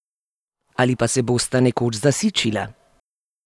Ali pa se bosta nekoč zasičila?